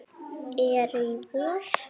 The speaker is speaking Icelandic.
eru í vor.